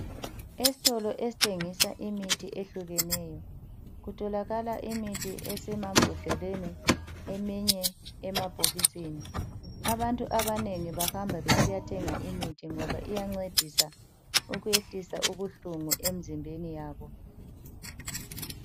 Esitolo esithengisa imithi ehlukeneyo kutholakala imithi esema mbodleleni eminye ema bhokisini. Abantu abanengi bahamba besiyathenga imithi ngoba iyancedisa ukwehlisa ubuhlungu emzimbeni yabo.